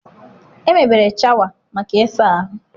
Emebere shawa maka ịsa ahụ.